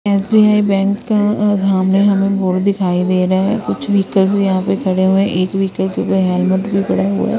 SBI bank का सामने हमें बोल दिखाई दे रहा है कुछ व्हीकल यहां पे खड़े हुए हैं एक व्हीकल के हेलमेट भी पड़ा हुआ है।